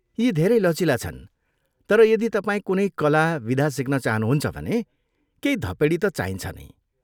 यी धेरै लचिला छन् तर यदि तपाईँ कुनै कला विधा सिक्न चाहनुहुन्छ भने केही धपेडी त चाहिन्छ नै।